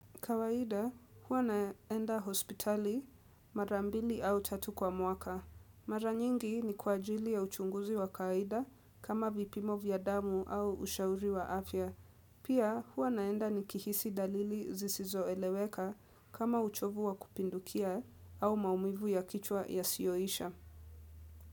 Kawaida, huwa naenda hospitali mara mbili au tatu kwa mwaka. Mara nyingi ni kwa ajili ya uchunguzi wa kawaida kama vipimo vya damu au ushauri wa afya. Pia, huwa naenda nikihisi dalili zisizo eleweka kama uchovu wa kupindukia au maumivu ya kichwa yasiyoisha.